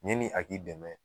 Yɛni a k'i dɛmɛ